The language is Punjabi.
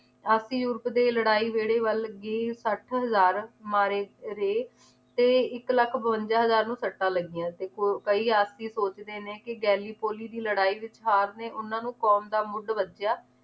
ਆਪਸੀ ਯੁਵਕ ਦੇ ਲੜਾਈ ਵੇੜੇ ਵੱਲ ਲੱਗੀ ਸੱਠ ਹਜ਼ਾਰ ਮਾਰੇ ਰੇ ਤੇ ਇੱਕ ਲੱਖ ਬਵੰਜਾ ਹਜ਼ਾਰ ਨੂੰ ਸੱਟਾਂ ਲੱਗਿਆਂ ਸੀ ਕਈ ਆਪਸੀ ਸੋਚਦੇ ਨੇ ਕਿ ਗੈਲੀ ਪੋਲੀ ਦੀ ਲੜਾਈ ਵਿਚ ਹਾਰਨੇ ਉਹਨਾਂ ਨੂੰ ਕੌਮ ਦਾ ਮੁੱਢ ਵਜਿਆ